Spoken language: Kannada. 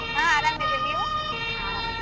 ಹಾ ಅರಾಮ್ ಇದೀನಿ ನೀವು ಹಾ ಅರಾಮ್ ಇದೀವಿ?